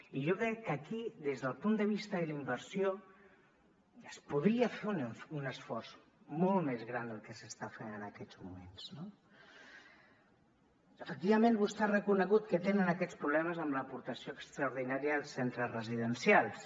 i jo crec que aquí des del punt de vista de la inversió es podria fer un esforç molt més gran del que s’està fent en aquests moments no efectivament vostè ha reconegut que tenen aquests problemes amb l’aportació extraordinària als centres residencials